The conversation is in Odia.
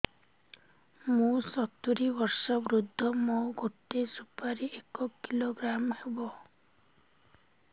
ମୁଁ ସତୂରୀ ବର୍ଷ ବୃଦ୍ଧ ମୋ ଗୋଟେ ସୁପାରି ଏକ କିଲୋଗ୍ରାମ ହେବ